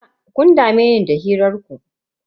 Fita, kun dame ni da hirar ku.